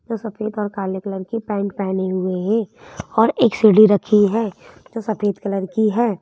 जो सफेद और काले कलर के पेंट पहने हुए है और एक सीढ़ी रखी है जो सफेद कलर की है।